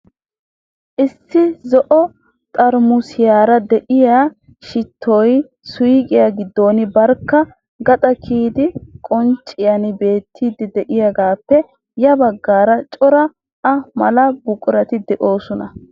Issi zo"o xaaramusiyara de'iya shittoy suuqiya giddon barkka gaxaa kiyidi qoncciyan beettiiddi de'iyagaappe ya baggaara cora a mala buqurati de'oosona.